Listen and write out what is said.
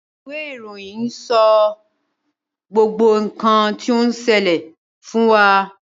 Ìwé ìròyìn ni o n sọ gbogbo nkan ti on ṣẹlẹ fún wa.